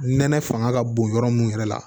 Nɛnɛ fanga ka bon yɔrɔ mun yɛrɛ la